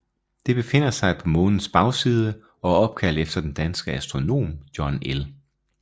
Det befinder sig på Månens bagside og er opkaldt efter den danske astronom John L